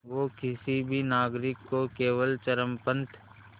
वो किसी भी नागरिक को केवल चरमपंथ